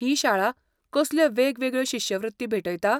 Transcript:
ही शाळा कसल्यो वेगवेगळ्यो शिश्यवृत्ती भेटयता?